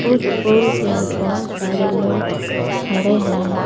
उस पोल पर बहोत सारे लोग खड़े हैं।